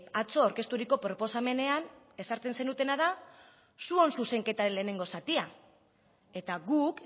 atzo aurkezturiko proposamenean ezartzen zenutena da zuon zuzenketaren lehenengo zatia eta guk